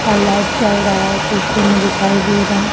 और लाईट जल रहा है पीछे मे दिखाई दे रहा है।